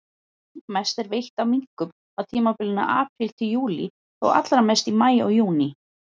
Langmest er veitt af minkum á tímabilinu apríl-júlí, þó allra mest í maí og júní.